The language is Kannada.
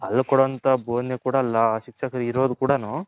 ಅಲ್ಲಿ ಕೊಡೊ ಅಂತ ಬೊದನೆ ಕೂಡ ಶಿಕ್ಷಕರು ಇರೋದ್ ಕೂಡನು